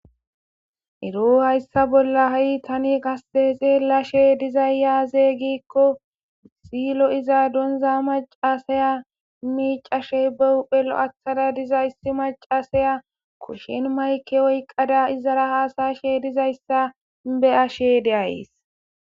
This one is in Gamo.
ero hayssa bolla ha7i tani qase xeelashe dizayyaazey giikko silo iza donza macasaya miicashey bewuphelo7athada diza yssi macasaya kushin mayke oyqqada izara haasashe dizayssa be ashe deays